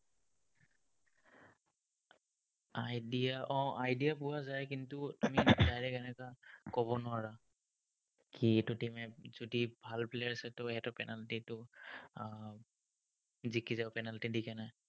idea um idea পোৱা যায়, কিন্তু, direct এনেকা ক'ব নোৱাৰা। কি এইটো team এ যদি ভাল players আছে, সিহঁতৰ penalty টো আহ জিকি যাব, penalty ত